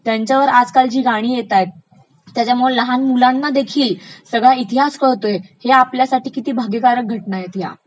त्यांच्यांवर आजकालची गाणी येतायत. त्याच्यामुळे लहान मुलांना देखिल सगळा इतिहास कळतोय. हे आपल्यासाठी किती भाग्याकारक घटना आहेत ह्या.